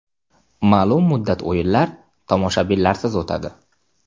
Ma’lum muddat o‘yinlar tomoshabinlarsiz o‘tadi.